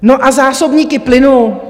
No a zásobníky plynu?